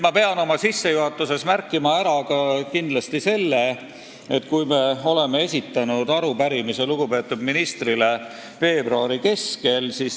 Ma pean oma sissejuhatuses kindlasti märkima ka seda, et me esitasime arupärimise lugupeetud ministrile veebruari keskel.